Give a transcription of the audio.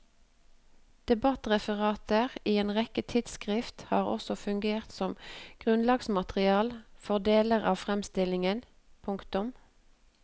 Debattreferater i en rekke tidsskrift har også fungeret som grunnlagsmateriale for deler av framstillingen. punktum